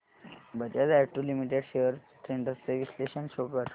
Bajaj auto limited shares trends चे विश्लेषण show कर